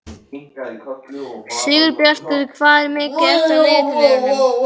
Sigurbjartur, hvað er mikið eftir af niðurteljaranum?